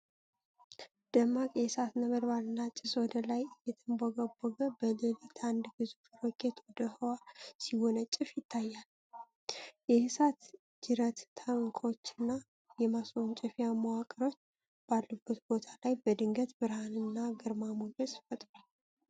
ደማቅ የእሳት ነበልባልና ጭስ ወደ ላይ እየተንቦገቦገ፣ በሌሊት አንድ ግዙፍ ሮኬት ወደ ህዋ ሲወነጨፍ ይታያል። የእሳት ጅረት ታንኮችና የማስወንጨፊያ መዋቅሮች ባሉበት ቦታ ላይ በድንገት ብርሃንና ግርማ ሞገስ ፈጥሯል።